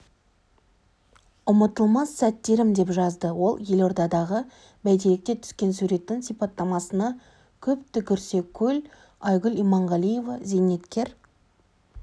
ұмытылмас сәттерім деп жазды ол елордадағы бәйтеректе түскен суреттің сипаттамасына көп түкірсе көл айгүл иманғалиева зейнеткер